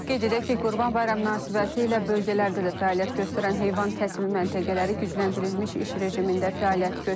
Qeyd edək ki, Qurban bayramı münasibətilə bölgələrdə də fəaliyyət göstərən heyvan kəsimi məntəqələri gücləndirilmiş iş rejimində fəaliyyət göstərir.